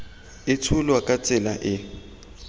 e tsholwa ka tsela e